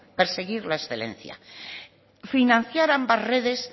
perseguir la excelencia financiar ambas redes